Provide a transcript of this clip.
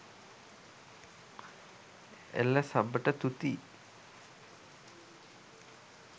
එල සබට තුති